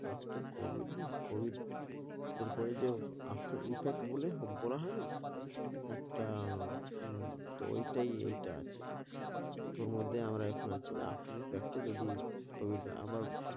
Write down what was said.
after COVID না? COVID এরপরে যেয়েও after effect বলে হো~ বলা হয়না একটা উম তো ঐটাই এইটা আছে। তো ওর মধ্যে আমার এখন আছে যে after effect এ যদি COVID আবার।